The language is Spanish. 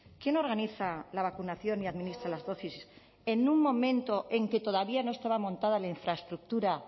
quién organiza la vacunación y administra las dosis en un momento en que todavía no estaba montada la infraestructura